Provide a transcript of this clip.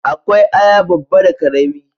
Akwai aya babba da karami